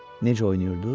Necə oynayırdı?